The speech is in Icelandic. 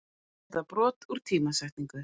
eða brot úr tímasetningu.